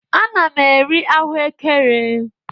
Ana m eri ahụekere.